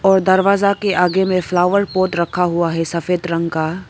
दरवाजा के आगे में फ्लावर पॉट रखा हुआ है सफेद रंग का।